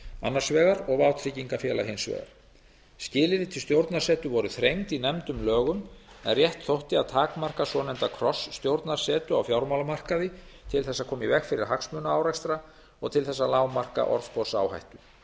annars vegar og vátryggingafélaga hins vegar skilyrði til stjórnarsetu voru þrengd í nefndum lögum en rétt þótti að takmarka svonefnda krossstjórnarsetu á fjármálamarkaði til þess að koma í veg fyrir hagsmunaárekstra og til þess að lágmarka orðsporsáhættu